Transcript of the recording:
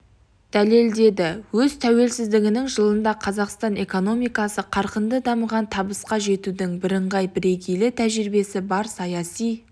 дәлелдеді өз тәуелсіздігінің жылында қазақстан экономикасы қарқынды дамыған табысқа жетудің бірыңғай бірегей тәжірибесі бар саяси